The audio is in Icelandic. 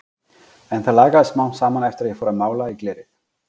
En það lagaðist smám saman eftir að ég fór að mála í glerið.